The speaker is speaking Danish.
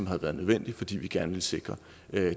har været nødvendig fordi vi gerne vil sikre